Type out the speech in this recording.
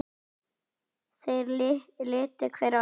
Þeir litu hver á annan.